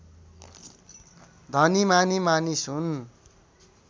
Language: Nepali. धनीमानी मानिस हुन्